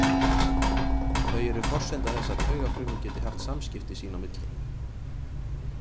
Þau eru forsenda þess að taugafrumur geti haft samskipti sín á milli.